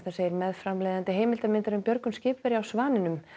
segir meðframleiðandi heimildarmyndar um björgun skipverja á Svaninum